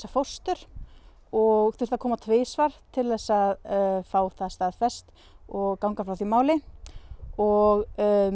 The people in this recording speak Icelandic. fóstur og þurfti að koma tvisvar til að fá það staðfest og ganga frá því máli og